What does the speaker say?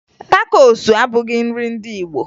Takosu abụghị nrị ndị Igbo